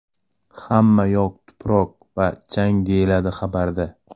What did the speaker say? Hamma yoq tuproq va chang”, deyiladi xabarda.